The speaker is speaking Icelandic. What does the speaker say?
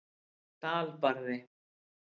Dalbarði